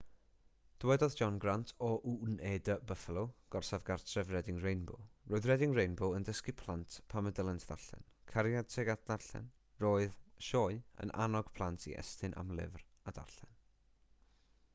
dywedodd john grant o wned buffalo gorsaf gartref reading rainbow roedd reading rainbow yn dysgu plant pam y dylent ddarllen,...cariad tuag at ddarllen - roedd [y sioe] yn annog plant i estyn am lyfr a darllen